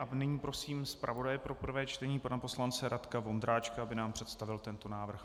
A nyní prosím zpravodaje pro prvé čtení pana poslance Radka Vondráčka, aby nám představil tento návrh.